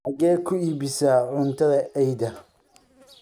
xageed ku iibisa cuntada eyda?